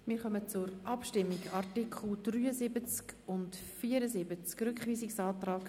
Wir kommen zur Abstimmung über die Artikel 73 und 74 beziehungsweise den Rückweisungsantrag